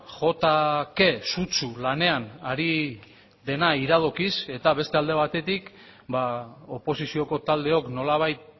jo ta ke sutsu lanean ari dena iradokiz eta beste alde batetik oposizioko taldeok nolabait